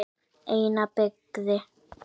Eina byggði